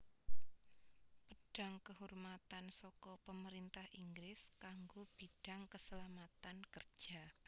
Pedang Kehormatan saka Pemerintah Inggris kanggo bidang keselamatan kerja